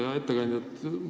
Hea ettekandja!